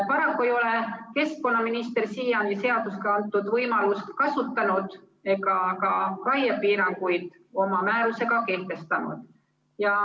Paraku ei ole keskkonnaminister siiani seadusega antud võimalust kasutanud ega raiepiiranguid oma määrusega kehtestanud.